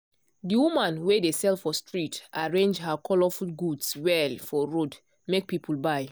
the woman wey dey sell for street arrange her colourful goods well for road make people buy.